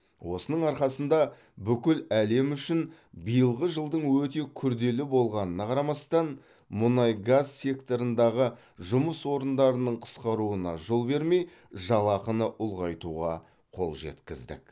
осының арқасында бүкіл әлем үшін биылғы жылдың өте күрделі болғанына қарамастан мұнай газ секторындағы жұмыс орындарының қысқаруына жол бермей жалақыны ұлғайтуға қол жеткіздік